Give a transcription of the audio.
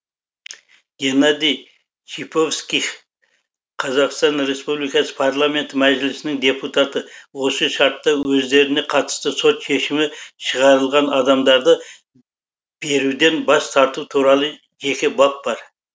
геннадий шиповских қазақстан республикасы парламенті мәжілісінің депутаты осы шартта өздеріне қатысты сот шешімі шығарылған адамдарды беруден бас тарту туралы жеке бап бар